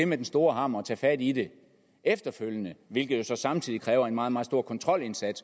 med den store hammer og tage fat i det efterfølgende hvilket jo så samtidig kræver en meget meget stor kontrolindsats